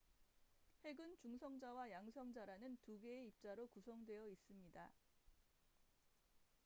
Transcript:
핵은 중성자와 양성자라는 2개의 입자로 구성되어 있습니다